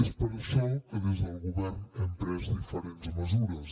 és per això que des del govern hem pres diferents mesures